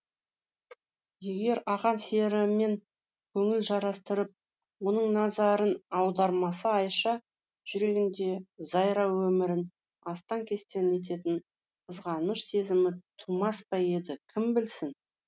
егер ақан серімен көңіл жарастырып оның назарын аудармаса айша жүрегінде зайра өмірін астаң кестең ететін қызғаныш сезімі тумас па еді кім білсін